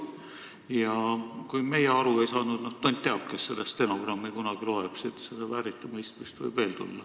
Ja kui meie aru ei saanud, siis tont teab, kes seda stenogrammi kunagi loeb – siit võib mingit vääriti mõistmist tulla.